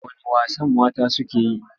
Wane wasan mata suke yi?